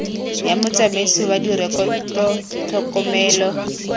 ya motsamaisi wa direkoto tlhokomelo